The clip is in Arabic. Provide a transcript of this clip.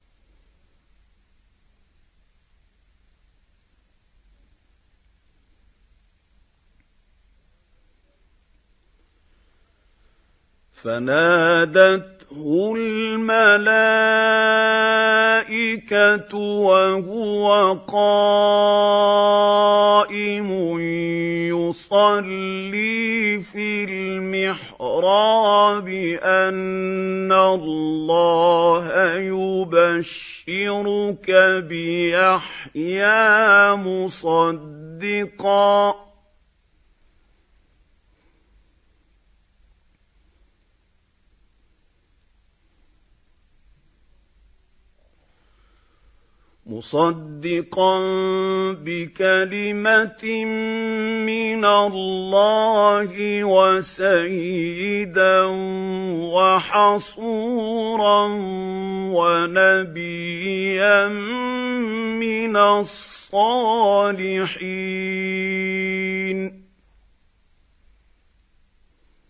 فَنَادَتْهُ الْمَلَائِكَةُ وَهُوَ قَائِمٌ يُصَلِّي فِي الْمِحْرَابِ أَنَّ اللَّهَ يُبَشِّرُكَ بِيَحْيَىٰ مُصَدِّقًا بِكَلِمَةٍ مِّنَ اللَّهِ وَسَيِّدًا وَحَصُورًا وَنَبِيًّا مِّنَ الصَّالِحِينَ